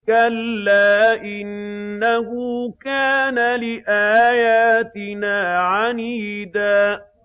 كَلَّا ۖ إِنَّهُ كَانَ لِآيَاتِنَا عَنِيدًا